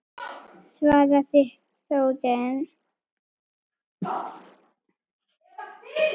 svaraði Þórunn.